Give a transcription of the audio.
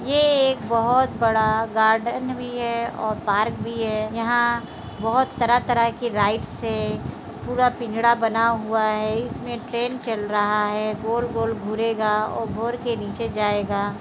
ये एक बहुत बड़ा गार्डन भी है और पार्क भी है यहाँ बहुत तरह-तरह की राइड्स है पूरा पिंजडा बना हुआ है इसमे ट्रेन चल रहा है गोल-गोल घूरेगा और घूर के नीचे जायेगा।